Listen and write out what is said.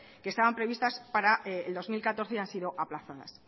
que estaban previstas para el dos mil catorce y han sido aplazadas